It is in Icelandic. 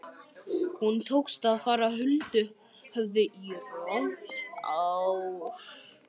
Honum tókst að fara huldu höfði í rúmt ár.